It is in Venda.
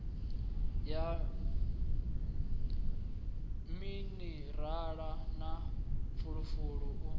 wa minirala na fulufulu u